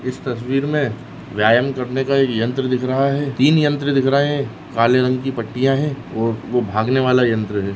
इस तस्वीर मे व्यायाम करने का एक यंत्र दिख रहा है तीन यंत्र दिख रहे है काले रंग की पट्टिया है और वो वो भागनेवाला यंत्र है।